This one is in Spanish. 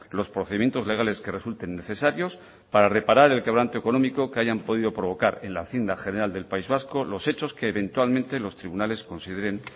los procedimientos legales que resulten necesarios para reparar el quebranto económico que hayan podido provocar en la hacienda general del país vasco los hechos que eventualmente los tribunales consideren